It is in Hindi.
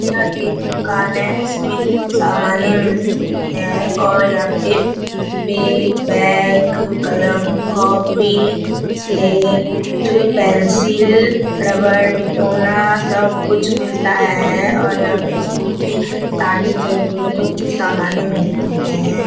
यह एक दुकान है। इसमें समानें मिलती हैं और यहाँ पे बे बैग कलम कॉपी स्लेट पेंसिल रबर मिटौना सब कुछ मिलता है और यहाँ पर स्कूल की सारी जरूरतों की समानें मिलती हैं।